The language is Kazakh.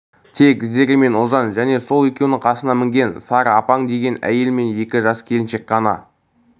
тек зере мен ұлжан және сол екеуінің қасына мінген сары апаң деген әйел мен екі жас келіншек қана